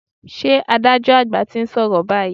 Ṣé adájọ́ àgbà ti ń sọ̀rọ̀ báyìí?